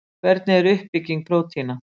Hvernig er uppbygging prótína?